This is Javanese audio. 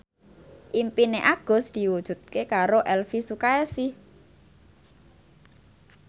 impine Agus diwujudke karo Elvy Sukaesih